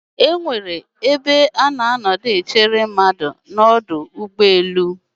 Ana enwe ebe iche mmadụ n'ọdụ ụgbọelu